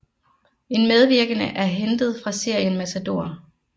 En medvirkende er hentet fra serien Matador